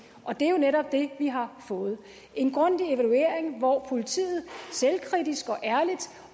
og det er jo netop det vi har fået en grundig evaluering hvor politiet selvkritisk